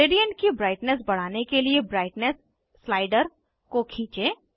gradient की brightness बढ़ाने के लिए ब्राइटनेस स्लाइडर को खींचें